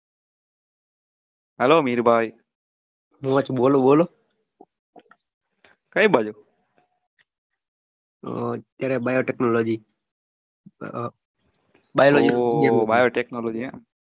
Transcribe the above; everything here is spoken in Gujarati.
hello મીર ભાઈ બોલો બોલો કઈ બાજુ અ અત્યાર biotechnology ઓહ biotechnology એમ